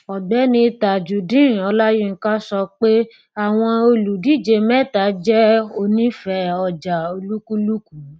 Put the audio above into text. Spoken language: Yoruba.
ọgbẹni tajudeen ọláyínká sọ pé àwọn olùdíje mẹta jẹ onífẹẹ ọjà olúkúlùkù